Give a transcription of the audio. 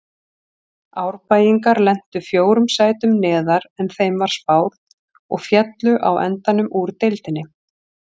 Árbæingar lentu fjórum sætum neðar en þeim var spáð og féllu á endanum úr deildinni.